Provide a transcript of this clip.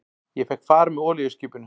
Ég fékk far með olíuskipinu